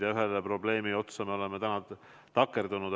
Ja ühe probleemi otsa me oleme täna takerdunud.